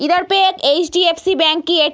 इधर पे एक एच.डी.ऍफ़.सी. बेंक की एक --